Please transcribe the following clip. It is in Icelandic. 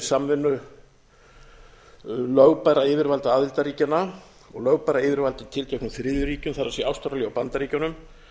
samvinnu lögbærra yfirvalda aðildarríkjanna og lögbærra yfirvalda í tilteknum þriðju ríkjum það er ástralíu og bandaríkjunum